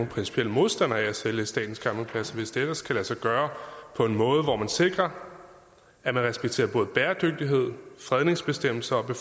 principielt modstandere af at sælge statens campingpladser hvis det ellers kan lade sig gøre på en måde hvor man sikrer at man respekterer både bæredygtighed fredningsbestemmelserne